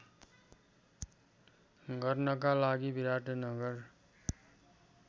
गर्नका लागि विराटनगर